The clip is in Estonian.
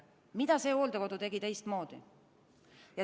Mida see hooldekodu tegi teistmoodi?